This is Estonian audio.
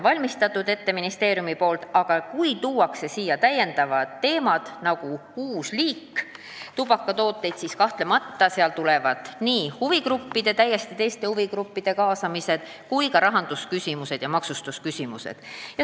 Kui tuuakse lauale selline täiendav teema, nagu on uus tubakatoodete kategooria, siis kahtlemata on vajalik täiesti teiste huvigruppide kaasamine ja arutada tuleb ka maksustamisküsimusi.